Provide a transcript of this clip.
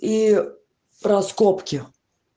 и раскопки